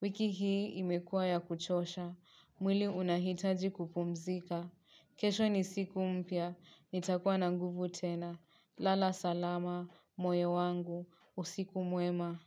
Wiki hii imekuwa ya kuchosha. Mwili unahitaji kupumzika. Kesho ni siku mpya. Nitakuwa na nguvu tena. Lala salama, moyo wangu. Usiku mwema.